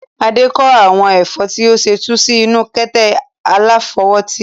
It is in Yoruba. Adé kó àwọn ẹ̀fọ́ tí ó ṣẹ̀ tu sí inú kata aláfọwótì.